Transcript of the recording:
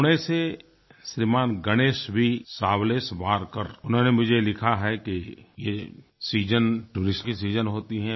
पुणे से श्रीमान गणेश वी सावलेशवारकर उन्होंने मुझे लिखा है कि ये सीजन टूरिस्ट की सीजन होती है